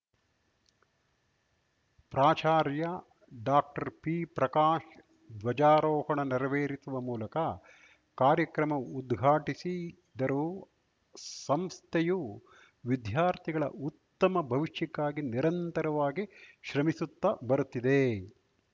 ಪ್ರಾಚಾರ್ಯ ಡಾಕ್ಟರ್ಪಿಪ್ರಕಾಶ್‌ ಧ್ವಜಾರೋಹಣ ನೆರವೇರಿಸುವ ಮೂಲಕ ಕಾರ್ಯಕ್ರಮ ಉದ್ಘಾಟಿಸಿದರು ಸಂಸ್ಥೆಯು ವಿದ್ಯಾರ್ಥಿಗಳ ಉತ್ತಮ ಭವಿಷ್ಯಕ್ಕಾಗಿ ನಿರಂತರವಾಗಿ ಶ್ರಮಿಸುತ್ತಾ ಬರುತ್ತಿದೆ